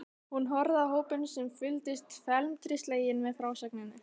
Hún horfði á hópinn sem fylgdist felmtri sleginn með frásögninni.